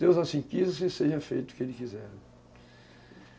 Deus assim quis, e seja feito o que Ele quiser.